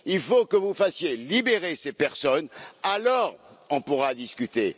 Il faut que vous fassiez libérer ces personnes, alors nous pourrons discuter.